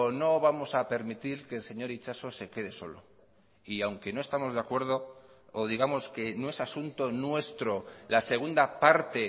no vamos a permitir que el señor itxaso se quede solo y aunque no estamos de acuerdo o digamos que no es asunto nuestro la segunda parte